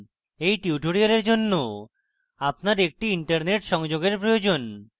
এই tutorial জন্য আপনার একটি internet সংযোগের প্রয়োজন